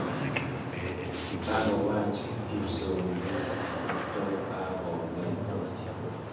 Kagowaach kipsoywet kotogagongetech